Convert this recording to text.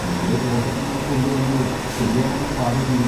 നേരെ തോട്ടത്തിൽന്ന് കൊണ്ടുവന്ന് ശരിയാംവണ്ണം പാകം ചെയ്യും.